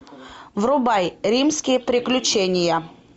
врубай римские приключения